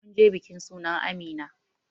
Munje bikin sunan amina